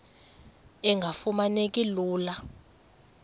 engafuma neki lula